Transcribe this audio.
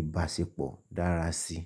ìbáṣepọ̀ dára sí i.